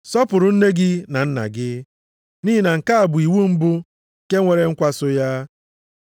“Sọpụrụ nne gị na nna gị,” nʼihi na nke a bụ iwu mbụ nke nwere nkwa so ya.